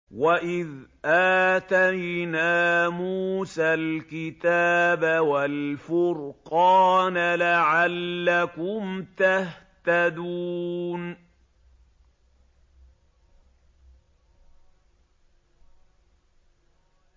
وَإِذْ آتَيْنَا مُوسَى الْكِتَابَ وَالْفُرْقَانَ لَعَلَّكُمْ تَهْتَدُونَ